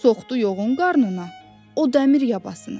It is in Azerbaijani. Soğdu yoğun qarnına o dəmir yabasını.